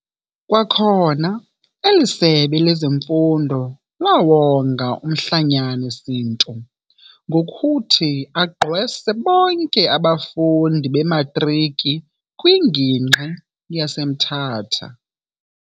Kwakhona eli sebe lezeMfundo laawonga umhlonyane Sintu ngokuthi agqwese bonke abafundi bematriki kwingingqi yaseMthatha.